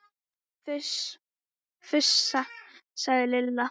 Fúsa! sagði Lilla.